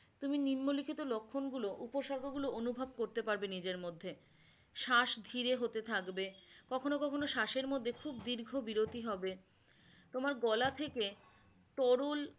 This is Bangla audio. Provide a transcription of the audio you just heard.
তুমি লক্ষণগুলো উপসর্গগুলো অনুভব করতে পারবে নিজের মধ্যে শ্বাস ধীরে হতে থাকবে, কখনো কখনো শ্বাসের মধ্যে খুব দীর্ঘ বিরতি হবে, তোমার গলা থেকে তরল